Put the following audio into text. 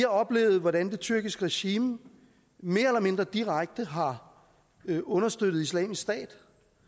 oplevet hvordan det tyrkiske regime mere eller mindre direkte har understøttet islamisk stat